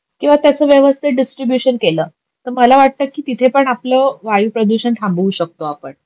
किवा त्याच व्यवस्तीत डीस्ट्रीब्यूशन केल, तर मला वाटत की तिथे पण आपल वायू प्रदूषण थांबवू शकतो आपण